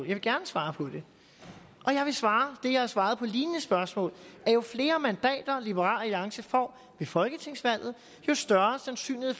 vil gerne svare på det og jeg vil svare det jeg har svaret på lignende spørgsmål at jo flere mandater liberal alliance får ved folketingsvalget jo større sandsynlighed